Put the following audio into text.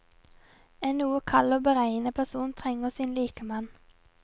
En noe kald og beregnende person trenger sin likemann.